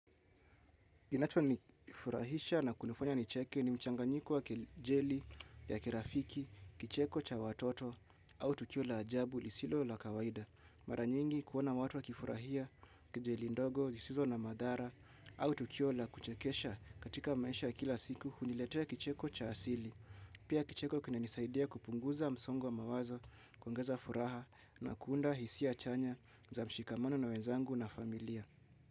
Kinacho nifurahisha na kunifanya nicheke ni mchanganyiko wa kejeli ya kirafiki, kicheko cha watoto, au tukio la ajabu lisilo la kawaida. Mara nyingi kuona watu wakifurahia kejeli ndogo, zisizo na madhara, au tukio la kuchekesha katika maisha ya kila siku, huniletea kicheko cha asili. Pia kicheko kinanisaidia kupunguza msongo wa mawazo, kuongeza furaha na kuunda hisia chanya za mshikamano na wenzangu na familia.